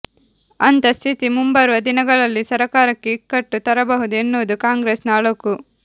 ಅಂಥ ಸ್ಥಿತಿ ಮುಂಬರುವ ದಿನಗಳಲ್ಲಿ ಸರಕಾರಕ್ಕೆ ಇಕ್ಕಟ್ಟು ತರಬಹುದು ಎನ್ನುವುದು ಕಾಂಗ್ರೆಸ್ನ ಅಳುಕು